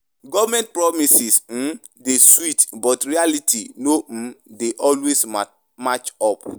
Government promises um dey sweet, but reality no um dey always match up.